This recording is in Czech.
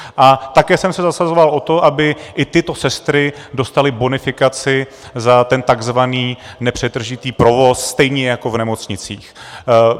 A také jsem se zasazoval o to, aby i tyto sestry dostaly bonifikaci za ten tzv. nepřetržitý provoz, stejně jako v nemocnicích.